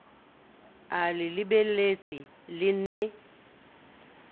a le lebeletse le ne